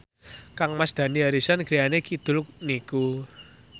kangmas Dani Harrison griyane kidul niku